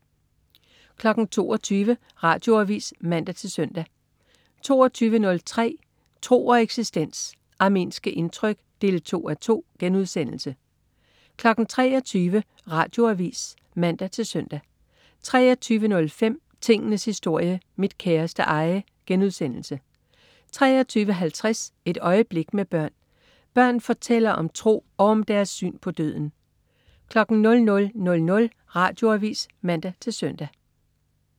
22.00 Radioavis (man-søn) 22.03 Tro og eksistens. Armenske indtryk 2:2* 23.00 Radioavis (man-søn) 23.05 Tingenes historie. Mit kæreste eje* 23.50 Et øjeblik med børn. Børn fortæller om tro og om deres syn på døden 00.00 Radioavis (man-søn)